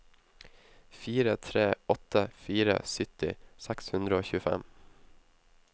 fire tre åtte fire sytti seks hundre og tjuefem